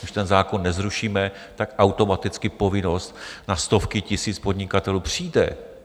Když ten zákon nezrušíme, tak automaticky povinnost na stovky tisíc podnikatelů přijde.